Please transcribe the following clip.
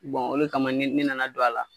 ole kama ne nana don a la.